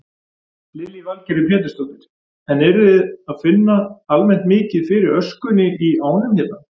Lillý Valgerður Pétursdóttir: En eruð þið að finna almennt mikið fyrir öskunni í ánum hérna?